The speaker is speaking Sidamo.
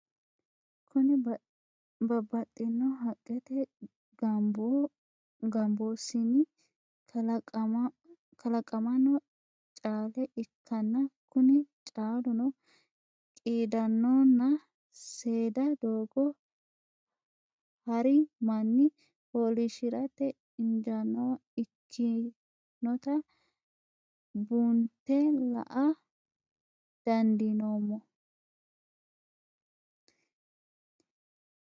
Kuni babaxino haqete gambosinni kalaqamanno caale ikanna Kuni caaluno qidadona seeda dogo hari manni folishirate injanowa ikinota bunte la'a dandineemo